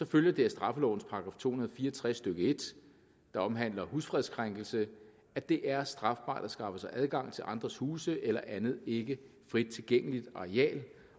følger det af straffelovens § to hundrede og fire og tres stykke en der omhandler husfredskrænkelse at det er strafbart at skaffe sig adgang til andres huse eller andet ikke frit tilgængeligt areal